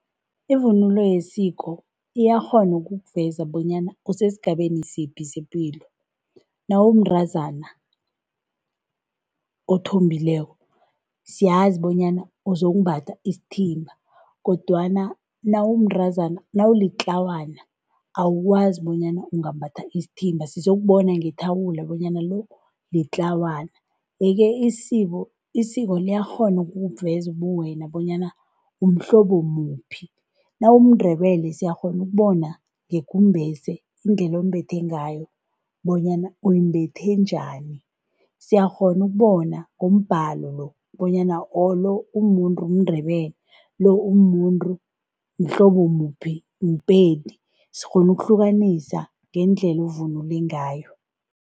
Ivunulo yesiko iyakghona ukukuveza bonyana usesigabeni siphi sepilo. Nawumntazana othombileko siyazi bonyana uzokumbatha isithimba kodwana nawumntazana nawulitlawana awukwazi bonyana ungambatha isithimba sizokubona ngethawula bonyana lo litlawana. Yeke isiko isiko liyakghona ukukuveza ubuwena bonyana umhlobo muphi. NawumuNdebele. Siyakghona ukubona ngekumbese bona uyimbethe njani indlela owumbethe ngayo bonyana umbethe njani. Siyakghona ukubona ngombhalo bonyana lo umuNdebele lo umuntu umhlobo muphi muPedi sikghona ukuhlukanisa ngendlela ovunule ngayo.